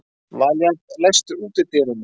Valíant, læstu útidyrunum.